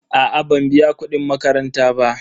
A'a ban biya kudin makaranta ba.